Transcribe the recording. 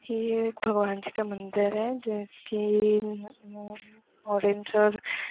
ये भगवान जी का मंदिर है जैसे उ म् म ओरेंज और---